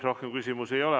Rohkem küsimusi ei ole.